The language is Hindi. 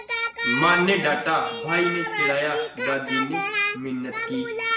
माँ ने डाँटा भाई ने चिढ़ाया दादी ने मिन्नत की